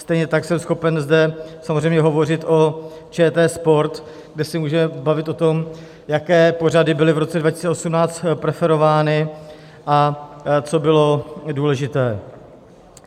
Stejně tak jsem schopen zde samozřejmě hovořit o ČT Sport, kde se můžeme bavit o tom, jaké pořady byly v roce 2018 preferovány a co bylo důležité.